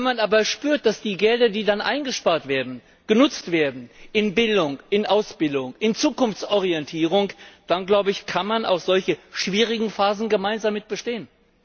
Wenn man aber spürt, dass die Gelder, die dann eingespart werden, genutzt werden in Bildung, in Ausbildung, in Zukunftsorientierung, dann kann man auch solche schwierigen Phasen gemeinsam bestehen.